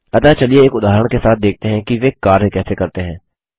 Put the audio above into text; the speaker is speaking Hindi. अतः चलिए एक उदाहरण के साथ देखते हैं कि वे कार्य कैसे करते हैं